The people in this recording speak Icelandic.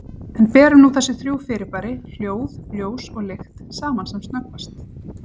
En berum nú þessi þrjú fyrirbæri, hljóð, ljós og lykt, saman sem snöggvast.